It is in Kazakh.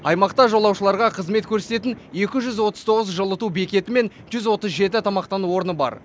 аймақта жолаушыларға қызмет көрсететін екі жүз отыз тоғыз жылыту бекеті мен жүз отыз жеті тамақтану орны бар